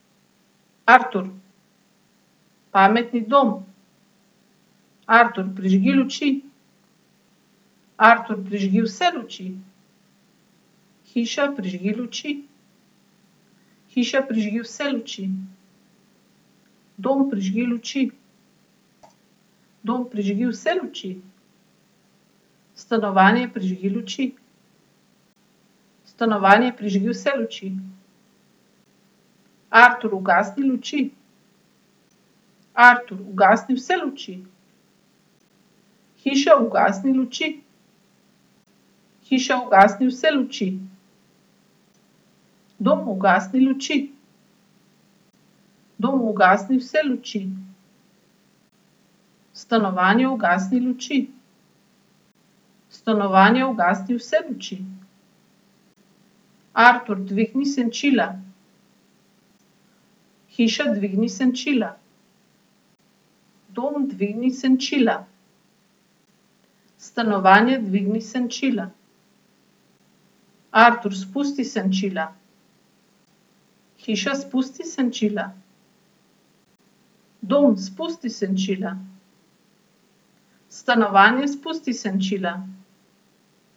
Artur. Pametni dom. Artur, prižgi luči. Artur, prižgi vse luči. Hiša, prižgi luči. Hiša, prižgi vse luči. Dom, prižgi luči. Dom, prižgi vse luči. Stanovanje, prižgi luči. Stanovanje, prižgi vse luči. Artur, ugasni luči. Artur, ugasni vse luči. Hiša, ugasni luči. Hiša, ugasni vse luči. Dom, ugasni luči. Dom, ugasni vse luči. Stanovanje, ugasni luči. Stanovanje, ugasni vse luči. Artur, dvigni senčila. Hiša, dvigni senčila. Dom, dvigni senčila. Stanovanje, dvigni senčila. Artur, spusti senčila. Hiša, spusti senčila. Dom, spusti senčila. Stanovanje, spusti senčila.